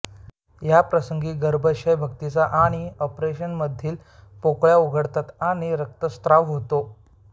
या प्रसंगी गर्भाशय भित्तिका आणि अपरेमधील रक्त पोकळ्या उघडतात आणि रक्तस्त्राव होतो